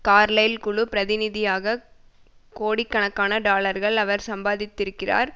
Carlyle குழு பிரதிநிதியாக கோடிக்கணக்கான டாலர்களை அவர் சம்பாதித்திருக்கிறார்